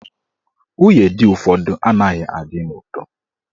Nwunye di ụfọdụ anaghị adị n'udo.